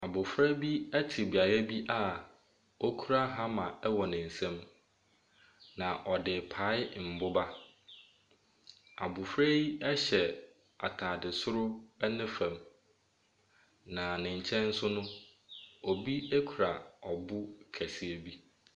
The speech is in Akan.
Abɔfra bia ɛte beaeɛ bi oura hammer ɛwɔ ne nsam, na ɔde repae mboba. Abɔfra yi ɛhyɛ ataade soro ɛne fam, na ne nkyɛn nso no, obi ɛkura ɔbo kɛseɛ bi.